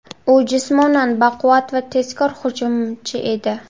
U jismonan baquvvat va tezkor hujumchi edi.